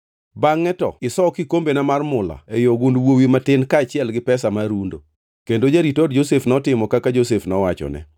Bangʼe to iso kikombena mar mula ei ogund wuowi matin kaachiel gi pesa mar rundo.” Kendo jarit od Josef notimo kaka Josef nowachone.